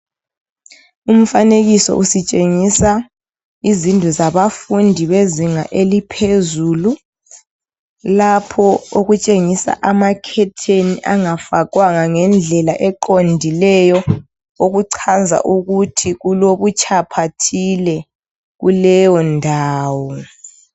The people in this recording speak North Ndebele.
Umfanekiso usitshengisa izindlu zabafundi bezinga eliphezulu, lapho okutshengisa amakhetheni angafakwanga ngendlela eqondileyo, okuchaza ukuthi kulobutshapha thile kuleyondawo.